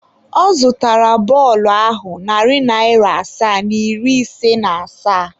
Ọ zụtara bọọlụ ahụ narị naira asaa na iri ise na asaa.